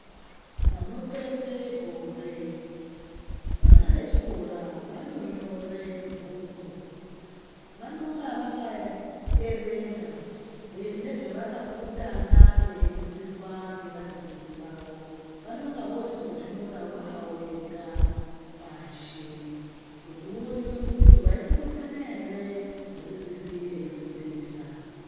Panopera gore vana vechikora vanonyora bvunzo vanonga vakaerenga nezvavakapurutana veidzidziswa nevadzidzisi vavo vaneyvozozvinyora vavega pashi kuti uonekwe kuti waipurutana ere mudzidzisi veifundisa.